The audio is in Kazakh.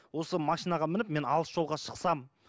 осы машинаға мініп мен алыс жолға шықсам